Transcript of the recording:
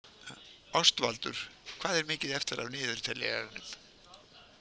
Ástvaldur, hvað er mikið eftir af niðurteljaranum?